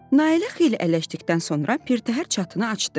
Nailə xeyli ələşdikdən sonra pirtəhər çatanı açdı.